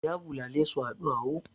Ya bulale su a ɗuwawu.